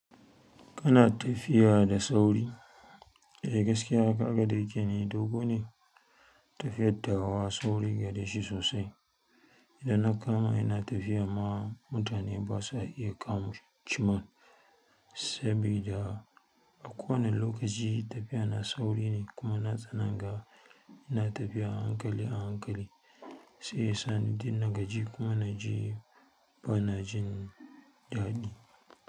Kana tafiya da sauri, eh gaskiya kaga da yake ni dogo ne, tafiyattawa sauri gareshi sosai. Ina kama ina tafiya ma mutane ba sa iya kama chimmin sabida a kowane lokaci tafiya na sauri ne kuma na tsanaga ina tafiya a hankali a hankali sai ya sani dunna gaji kuma na ji ba na jin daɗi.